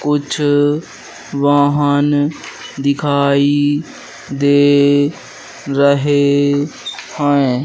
कुछ वाहन दिखाई दे रहे हैं।